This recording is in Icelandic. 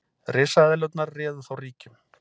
Risaeðlurnar réðu þá ríkjum.